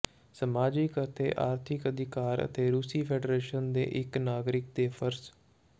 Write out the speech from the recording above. ਸਮਾਜਿਕ ਅਤੇ ਆਰਥਿਕ ਅਧਿਕਾਰ ਅਤੇ ਰੂਸੀ ਫੈਡਰੇਸ਼ਨ ਦੇ ਇੱਕ ਨਾਗਰਿਕ ਦੇ ਫਰਜ਼